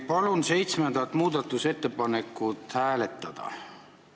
Palun seitsmendat muudatusettepanekut hääletada!